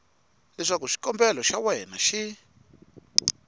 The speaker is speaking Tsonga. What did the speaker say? leswaku xikombelo xa wena xi